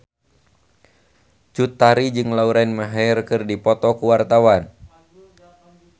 Cut Tari jeung Lauren Maher keur dipoto ku wartawan